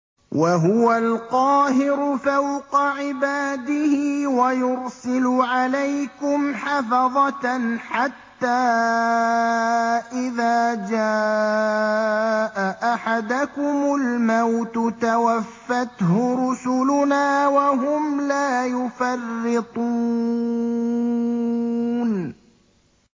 وَهُوَ الْقَاهِرُ فَوْقَ عِبَادِهِ ۖ وَيُرْسِلُ عَلَيْكُمْ حَفَظَةً حَتَّىٰ إِذَا جَاءَ أَحَدَكُمُ الْمَوْتُ تَوَفَّتْهُ رُسُلُنَا وَهُمْ لَا يُفَرِّطُونَ